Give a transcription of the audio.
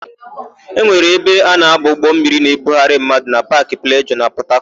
E nwere ebe a na-aba ụgbọmmiri na-ebugharị mmadụ na Paakị Plejọọ nke Pọtakọtụ.